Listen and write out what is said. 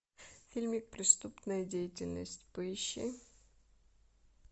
фильмик преступная деятельность поищи